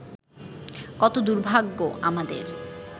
কত দুর্ভাগ্য আমাদের